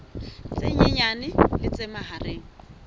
tse nyenyane le tse mahareng